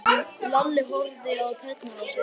Lalli horfði á tærnar á sér.